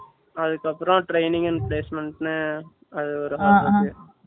அதுக்கு அப்புறம் training and placement ன்னு அது ஒரு half இருக்கு